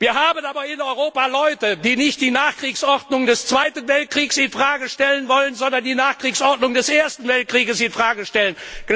Wir haben aber in Europa Leute, die nicht die Nachkriegsordnung des Zweiten Weltkriegs in Frage stellen wollen, sondern die Nachkriegsordnung des Ersten Weltkriegs in Frage stellen.